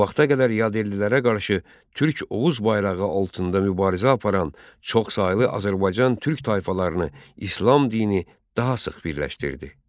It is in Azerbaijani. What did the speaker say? Bu vaxta qədər yad ellilərə qarşı Türk Oğuz bayrağı altında mübarizə aparan çoxsaylı Azərbaycan Türk tayfalarını İslam dini daha sıx birləşdirdi.